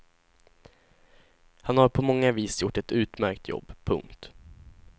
Han har på många vis gjort ett utmärkt jobb. punkt